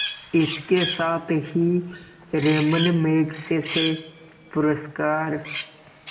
इसके साथ ही रैमन मैग्सेसे पुरस्कार